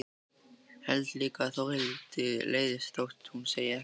Held líka að Þórhildi leiðist þótt hún segi ekkert.